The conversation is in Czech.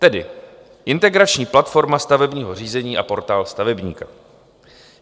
Tedy Integrační platforma stavebního řízení a Portál stavebníka.